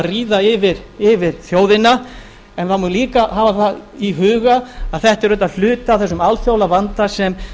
ríða yfir þjóðina en það má líka hafa það í huga að þetta er auðvitað hluti af þessum alþjóðlega vanda sem